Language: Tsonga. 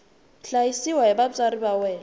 hlayisiwa hi vatswari va yena